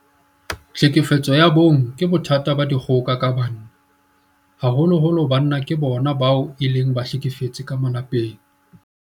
Tlhekefetso ya bong ke bothata ba dikgoka ka banna. Haholoholo banna ke bona bao e leng bahlekefetsi ka malapeng.